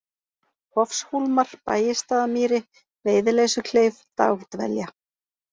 Hofshólmar, Bægisstaðamýri, Veiðileysukleif, Dagdvelja